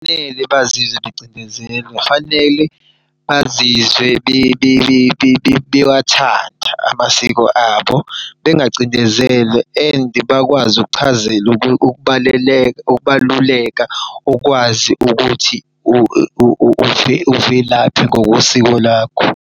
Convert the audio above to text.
Akumele bazizwe becindezelwa kufanele bazizwe bewathanda amasiko abo. Bengacindezelwe and bekwazi ukuchazela ukubaluleka ukwazi ukuthi uvelaphi ngokosiko lakho.